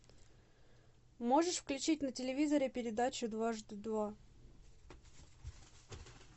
можешь включить на телевизоре передачу дважды два